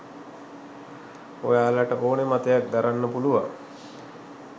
ඔයාලට ඕන මතයක් දරන්න පුළුවන්.